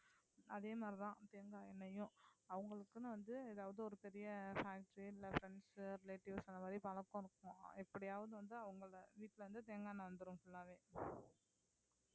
அதே மாதிரி தான் தேங்காய் எண்ணெய்யும் அவங்களுக்குன்னு வந்து ஏதாவது ஒரு பெரிய factory இல்ல friends, relatives அந்த மாதிரி பழக்கம் இருக்கும், எப்படியாவது வந்து அவங்களை வீட்டிலிருந்து தேங்காய் எண்ணெய் வந்துரும் full ஆவே